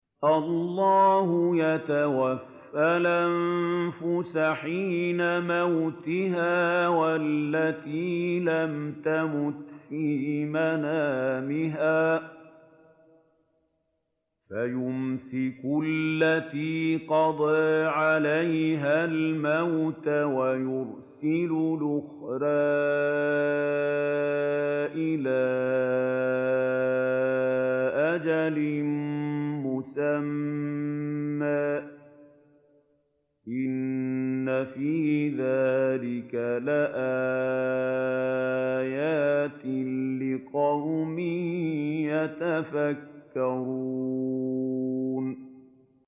اللَّهُ يَتَوَفَّى الْأَنفُسَ حِينَ مَوْتِهَا وَالَّتِي لَمْ تَمُتْ فِي مَنَامِهَا ۖ فَيُمْسِكُ الَّتِي قَضَىٰ عَلَيْهَا الْمَوْتَ وَيُرْسِلُ الْأُخْرَىٰ إِلَىٰ أَجَلٍ مُّسَمًّى ۚ إِنَّ فِي ذَٰلِكَ لَآيَاتٍ لِّقَوْمٍ يَتَفَكَّرُونَ